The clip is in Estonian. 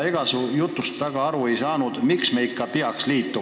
Ega su jutust väga aru ei saanud, miks me ikka peaks liituma.